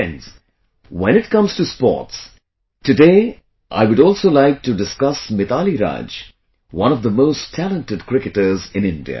Friends, when it comes to sports, today I would also like to discuss Mithali Raj, one of the most talented cricketers in India